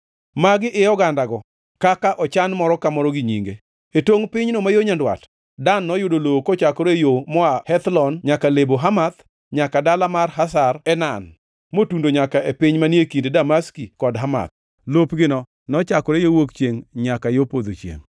“Magi e ogandago, ka ochan moro ka moro gi nyinge: “E tongʼ pinyno ma yo nyandwat, Dan noyud lowo kochakore e yo moa Hethlon nyaka Lebo Hamath; nyaka dala mar Hazar Enan motundo nyaka e piny manie kind Damaski kod Hamath. Lopgino nochakre yo wuok chiengʼ nyaka yo podho chiengʼ.